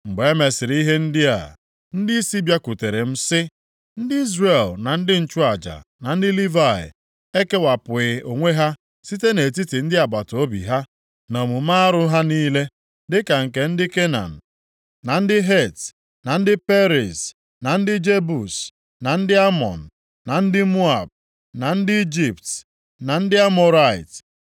Mgbe e mesịrị ihe ndị a, ndịisi bịakwutere m sị, “Ndị Izrel na ndị nchụaja, na ndị Livayị, ekewapụghị onwe ha site nʼetiti ndị agbataobi ha, na omume arụ ha niile, + 9:1 Omume rụrụ arụ, ọ bụ mgbe ọnwa itoolu gasịrị site na nʼoge Ezra lọghachiri Jerusalem ka ha mere ihe ndị a megidere iwu Chineke nyere ha nʼakwụkwọ. \+xt Dit 7:3-4; Nkp 3:5-6.\+xt* dịka nke ndị Kenan, na ndị Het; na ndị Periz, na ndị Jebus, na ndị Amọn, na ndị Moab, na ndị Ijipt, na ndị Amọrait.